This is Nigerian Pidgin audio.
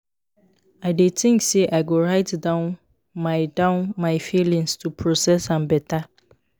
i dey think say i go write down my down my feelings to process am better.